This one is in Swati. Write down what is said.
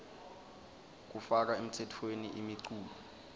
kufaka emtsetfweni imiculu